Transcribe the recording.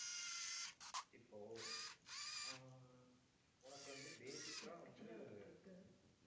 இப்போ ஆஹ் உனக்கு வந்து basic ஆ வந்து